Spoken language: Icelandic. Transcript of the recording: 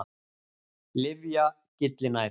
Lyfja- Gyllinæð.